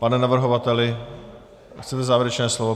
Pane navrhovateli, chcete závěrečné slovo?